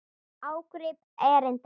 Ágrip erinda.